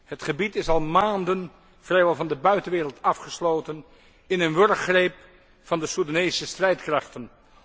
Het gebied is al maanden vrijwel van de buitenwereld afgesloten, in een wurggreep van de Soedanese strijdkrachten.